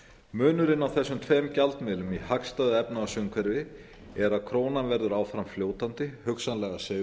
munurinn á þessum tveim gjaldmiðlum í hagstæðu efnahagsumhverfi er að krónan verður áfram fljótandi hugsanlega